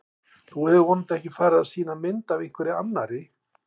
Þú hefur vonandi ekki farið að sýna mynd af einhverri annarri!